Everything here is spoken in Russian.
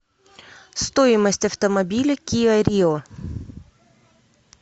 стоимость автомобиля киа рио